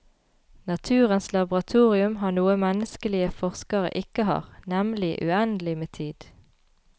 Naturens laboratorium har noe menneskelige forskere ikke har, nemlig uendelig med tid.